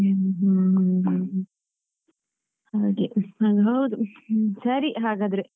ಹ್ಮ್ಮ್ ಹ್ಮೂ ಹ್ಮ್ಮ್ ಹಾಗೆ ಅದು ಹೌದು, ಹ್ಮೂ ಸರಿ ಹಾಗಾದ್ರೆ.